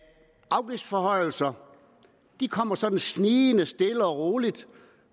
afgiftsforhøjelser kommer sådan snigende stille og roligt